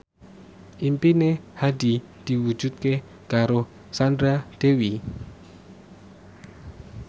impine Hadi diwujudke karo Sandra Dewi